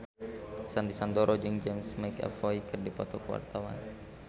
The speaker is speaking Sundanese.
Sandy Sandoro jeung James McAvoy keur dipoto ku wartawan